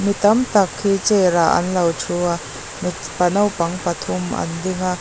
mi tam tak hi chair ah an lo thu a mipa naupang pathum an ding a.